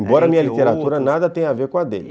Embora a minha literatura nada tenha a ver com a dele.